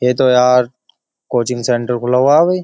ये तो यार कोचिंग सेंटर खुला हुआ है भाई।